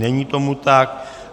Není tomu tak.